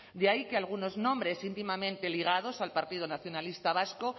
de ahí que algunos nombres íntimamente ligados al partido nacionalista vasco